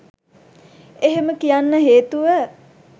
එහෙම කියන්න හේතුව